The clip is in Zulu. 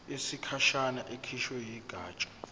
yesikhashana ekhishwe yigatsha